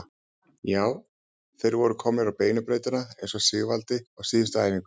Já, þeir voru komnir á beinu brautina eins og Sigvaldi sagði á síðustu æfingu.